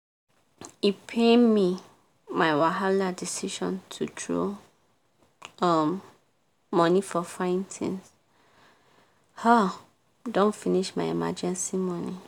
e pain me my wahala decision to throw um money for fine things um don finish my emergency money!